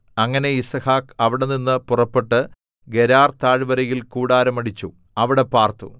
അങ്ങനെ യിസ്ഹാക്ക് അവിടെനിന്ന് പുറപ്പെട്ട് ഗെരാർതാഴ്വരയിൽ കൂടാരമടിച്ചു അവിടെ പാർത്തു